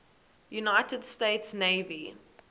united states navy